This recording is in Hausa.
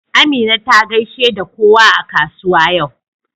Amina ta gaishe da kowa a kasuwa yau.